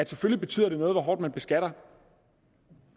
selvfølgelig betyder noget hvor hårdt man beskatter